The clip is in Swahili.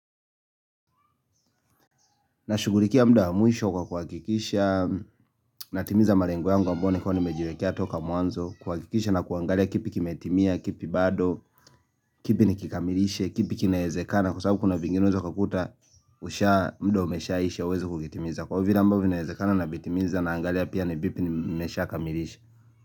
Nashughulikia mda wa mwisho kwa kuhakikisha, natimiza malengo yangu ambao nilikuwa nimejiwekea toka mwanzo, kuhakikisha na kuangalia kipi kimetimia, kipi bado, kipi nikikamilishe, kipi kinaezekana kwa sababu kuna vingine unaeza ukakuta mda umeshaisha uwezi kukitimiza. Kwa vile ambavyo vinaezekana navitimiza na naangalia pia ni vipi nimeshakamilisha.